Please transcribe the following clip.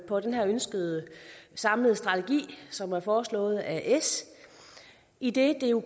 på den her ønskede samlede strategi som er foreslået af s idet det jo